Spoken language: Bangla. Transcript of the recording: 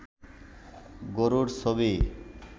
গরুর ছবি